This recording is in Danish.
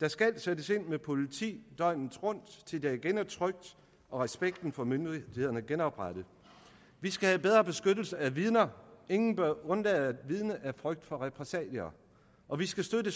der skal sættes ind med politi døgnet rundt til der igen er trygt og respekten for myndighederne genoprettet vi skal have bedre beskyttelse af vidner ingen bør undlade at vidne af frygt for repressalier og vi skal støtte